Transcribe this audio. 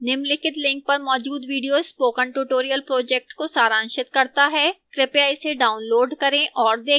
निम्नलिखित link पर मौजूद video spoken tutorial project को सारांशित करता है कृपया इसे डाउनलोड करें और देखें